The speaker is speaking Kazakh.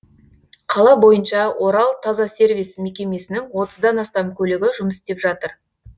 қала бойынша оралтазасервис мекемесінің отыздан астам көлігі жұмыс істеп жатыр